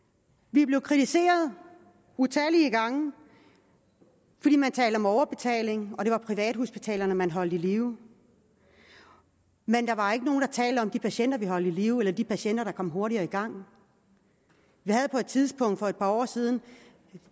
vi er blevet kritiseret utallige gange fordi man talte om overbetaling og det var privathospitalerne man holdt i live men der var ikke nogen der talte om de patienter vi holdt i live eller de patienter der kom hurtigere i gang vi havde på et tidspunkt for et par år siden